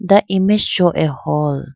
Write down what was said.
the image show a hall.